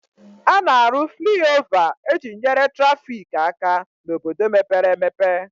A na-arụ fliova e ji nyere traffic aka n'obodo mepere emepe